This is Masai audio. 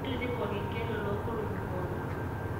tapasali tipika olkengele loo nkolong'i pooki